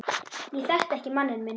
Ég þekkti ekki manninn minn